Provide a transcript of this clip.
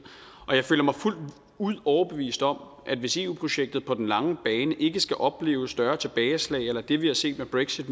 jeg føler mig fuldt ud overbevist om at hvis eu projektet på den lange bane ikke skal opleve større tilbageslag eller det vi har set med brexit